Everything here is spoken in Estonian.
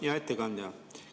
Hea ettekandja!